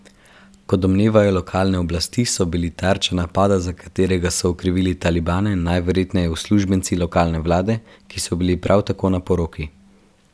Kot domnevajo lokalne oblasti, so bili tarča napada, za katerega so okrivili talibane, najverjetneje uslužbenci lokalne vlade, ki so bili prav tako na poroki.